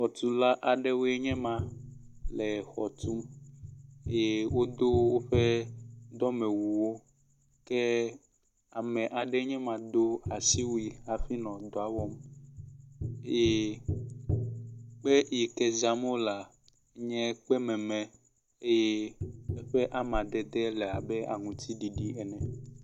xɔtula aɖewoe nyema le xɔtum ye wodó wóƒe dɔmewuwo ke ame aɖe nyema do asiwui hafi nɔ edɔwɔm ye ekpe si zam wola nye kpɛ mɛmɛ eye eƒe amadede labe aŋtiɖiɖi ene